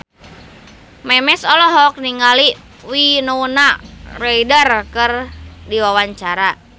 Memes olohok ningali Winona Ryder keur diwawancara